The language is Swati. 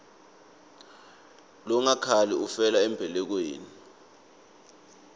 longakhali ufela embelekweni